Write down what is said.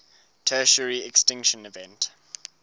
tertiary extinction event